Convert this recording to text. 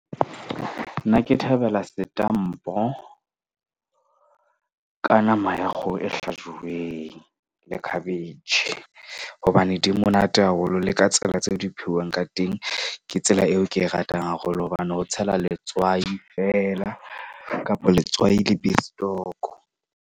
Nna ke thabela setampo ka nama ya kgoho e hlajuweng le khabetjhe. Hobane di monate, haholo le ka tsela tse o di phehwang ka teng, ke tsela eo ke e ratang haholo. Hobane ho tshelwa letswai feela kapa letswai le bestoko.